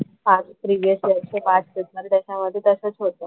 हा प्रिव्हिअस वर्ष पाच पेपर त्याच्या मध्ये तसंच होतं.